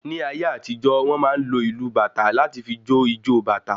Ní ayé àtijó, wọn máa ń lò ìlu bàtá láti fí jo ìjọ bàtá